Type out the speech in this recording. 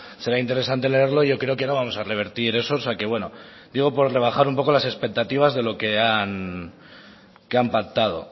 será interesante leerlo yo creo que no vamos a revertir esos o sea que bueno yo digo por rebajar un poco las expectativas de lo que han pactado